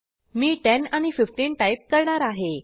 मी 10 आणि 15 टाईप करणार आहे